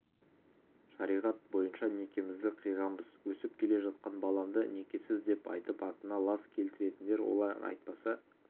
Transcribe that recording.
шариғат бойынша некемізді қиғанбыз өсіп келе жатқан баламды некесіз деп айтып атына лас келтіретіндер олай айтпаса